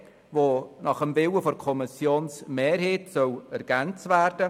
Gemäss Willen der Kommissionsmehrheit soll Buchstabe c ergänzt werden.